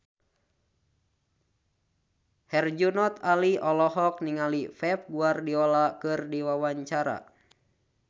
Herjunot Ali olohok ningali Pep Guardiola keur diwawancara